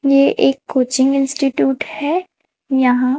ये एक coaching institute है यहां--